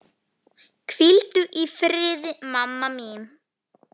Hvíldu í friði, mamma mín.